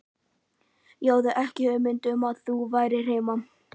Ég hafði ekki hugmynd um að þú værir heima